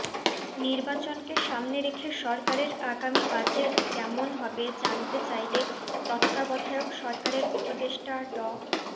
নির্বাচনকে সামনে রেখে সরকারের আগামী বাজেট কেমন হবে জানতে চাইলে তত্ত্বাবধায়ক সরকারের উপদেষ্টা ড